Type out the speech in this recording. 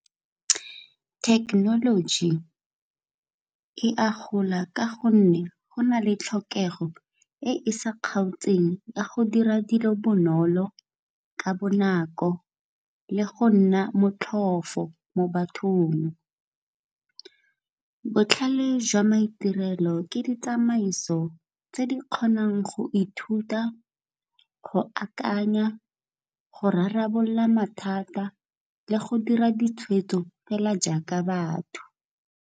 Thekenoloji e a gola ka gonne go na le tlhokego e e sa kgaotseng ya go dira dilo bonolo ka bonako, le go nna motlhofo mo bathong. Botlhale jwa maitirelo ke ditsamaiso tse di kgonang go ithuta, go akanya, go rarabolola mathata le go dira ditshwetso fela jaaka batho.